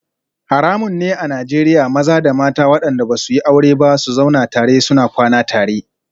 Haramun ne a Najeriya maza da mata wadanda ba su yi aure ba su zauna tare suna kwana tare